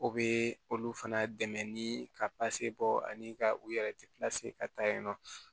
O bɛ olu fana dɛmɛ ni ka bɔ ani ka u yɛrɛ ka taa yen nɔ